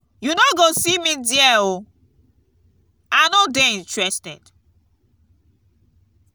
you no go see me there oo. i no dey interested.